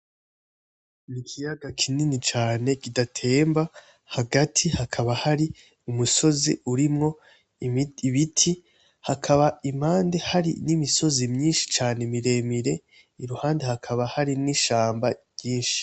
Ikiyaga kinini cane kidatemba hagati hakaba hari umusozi urimwo ibiti hakaba impande hari nimisozi myinshi cane miremire iruhande hakaba hari nishamba ryinshi .